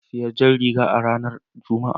Na sayi jar riga a ranar Juma'a.